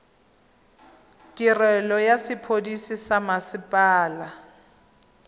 tirelo ya sepodisi sa mmasepala